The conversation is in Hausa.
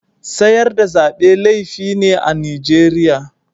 Sayar da Zabe laifi ne a'Nijeriya.